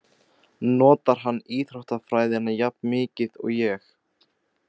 Notar hann íþróttafræðina jafn mikið og ég?